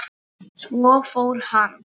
Svo fór hann.